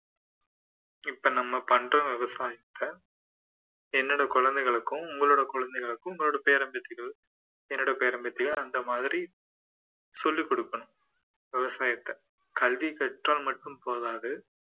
இப்போ நம்ம பண்ற விவசாயத்தை என்னோட குழந்தைகளுக்கும் உங்களோட குழந்தைகளுக்கும் உங்களுடைய பேரன் பேத்திகள் என்னோட பேரன் பேத்திகள் அந்த மாதிரி சொல்லிக் கொடுப்பேன் விவசாயத்தை கல்வி கற்றால் மட்டும் போதாது